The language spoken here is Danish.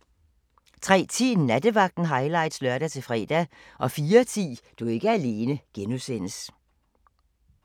03:10: Nattevagten highlights (lør-fre) 04:10: Du er ikke alene (G)